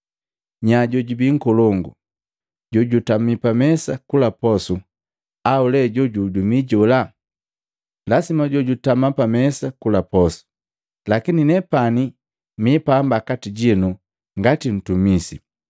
Nya jojubii nkolongu, jojutami pamesa kula posu, au lee jojuhudumii jola? Lasima jojutama pamesa kula posu! Lakini, nepani mi pamba kati jinu ngati ntumisi.